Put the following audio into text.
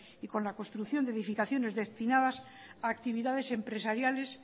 y con la construcción de edificaciones destinadas a actividades empresariales